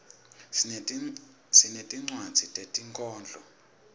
sinetinwadzi tetinkhondlo